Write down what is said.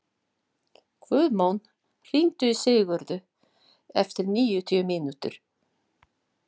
Guðmon, hringdu í Sigurðu eftir níutíu mínútur.